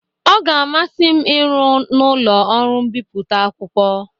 Ọ ga-amasị m ịrụ n'ụlọ ọrụ mbipụta akwụkwọ.